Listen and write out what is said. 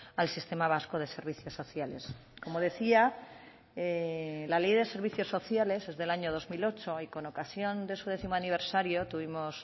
al sistema vasco de servicios sociales como decía la ley de servicios sociales es del año dos mil ocho y con ocasión de su décimo aniversario tuvimos